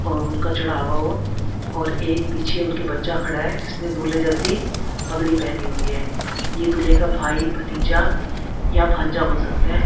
और उनका चढ़ावा हो और एक पीछे उनके बच्चा खड़ा है जिसने दूल्हे जैसी पगड़ी पहनी हुई है ये दूल्हे का भाई भतीजा या भांजा हो सकता है।